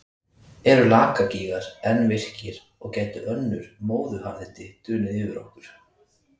Eru Lakagígar enn virkir og gætu önnur móðuharðindi dunið yfir okkur?